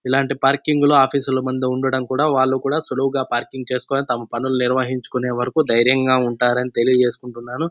ఇలాంటి పార్కింగ్ లో ఆఫీస్ లో బండి ఉండటం వాళ్ళ వాళ్ళు కూడా సులువుగా పార్కింగ్ చేసుకొని తమ పనులు నిర్వహించుకునే వరకు ధైర్యం గ ఉంటారని తెలియజేసుకుంటున్నాను.